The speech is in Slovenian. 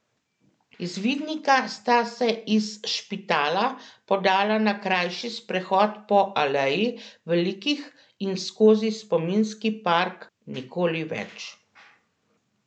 Izvidnika sta se iz Špitala podala na krajši sprehod po Aleji velikih in skozi spominski park Nikoli več.